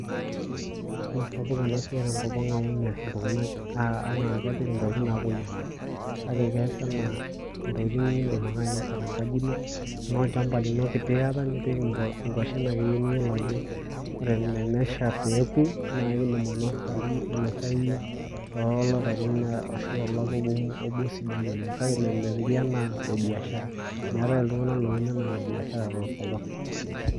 mmeesapuk enasiai tenkopang amu meas iltunganak anaa ntokitin naa kepuoi amir kake kees enaa ntokitin nindim ake ainosa tenkaji ino tenaa olchampa kiti aita nipik inkwashen akeyie niyiolo ajo ore tenesha peku naa idim ainosa, ainosai tolapaitin ashu tolapa obo sidai oleng kake mepiki anaa biashara , meetae iltunganak oun anaa ile biashara tenkopang .